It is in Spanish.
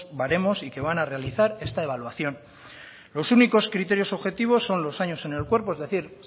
baremos y que van a realizar esta evaluación los únicos criterios objetivos son los años en el cuerpo es decir